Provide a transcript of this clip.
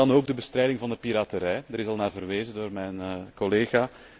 En dan ook de bestrijding van de piraterij, daar is al naar verwezen door mijn collega.